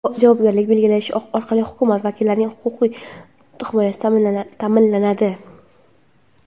javobgarlikni belgilash orqali hokimiyat vakillarining huquqiy himoyasi ta’minlanadi.